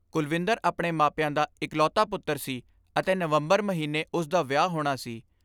ਕੁਲਵਿੰਦਰ ਆਪਣੇ ਮਾਪਿਆਂ ਦਾ ਇਕਲੌਤਾ ਪੁੱਤਰ ਸੀ ਅਤੇ ਨਵੰਬਰ ਮਹੀਨੇ ਉਸ ਦਾ ਵਿਆਹ ਹੋਣਾ ਸੀ।